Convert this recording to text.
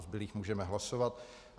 O zbylých můžeme hlasovat.